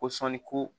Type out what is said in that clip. Ko sɔni ko